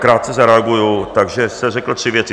Krátce zareaguji - takže jste řekl tři věci.